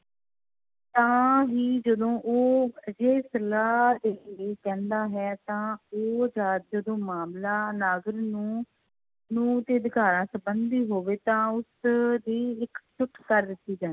ਤਾਂ ਹੀ ਜਦੋਂ ਉਹ ਅਜਿਹੇ ਸਲਾਹ ਦੇਣ ਲਈ ਕਹਿੰਦਾ ਹੈ ਤਾਂ ਉਹ ਜੱਜ ਤੋਂ ਮਾਮਲਾ ਨੂੰ, ਨੂੰ ਦੇ ਅਧਿਕਾਰਾਂ ਸੰਬੰਧੀ ਹੋਵੇ ਤਾਂ ਉਸ ਦੀ ਇੱਕ ਜੁੱਠ ਕਰ ਦਿੱਤੀ ਜਾਂ